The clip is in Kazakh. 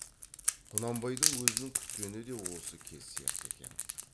құнанбайдың өзінің күткені де осы кез сияқты екен